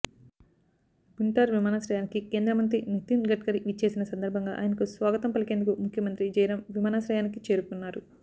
భుంటార్ విమానాశ్రయానికి కేంద్రమంత్రి నితిన్ గడ్కరీ విచ్చేసిన సందర్భంగా ఆయనకు స్వాగతం పలికేందుకు ముఖ్యమంత్రి జైరాం విమానాశ్రయానికి చేరుకున్నారు